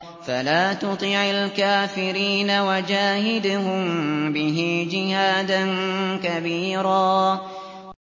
فَلَا تُطِعِ الْكَافِرِينَ وَجَاهِدْهُم بِهِ جِهَادًا كَبِيرًا